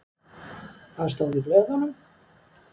Hvað stóð í blöðunum?